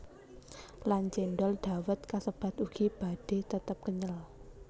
Lan cendhol dawet kasebat ugi badhe tetep kenyel